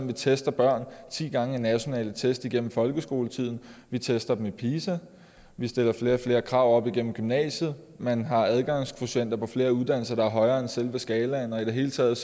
vi tester børn ti gange i nationale test gennem folkeskoletiden vi tester dem i pisa vi stiller flere og flere krav op gennem gymnasiet man har adgangskvotienter på flere uddannelser der er højere end selve skalaen og i det hele taget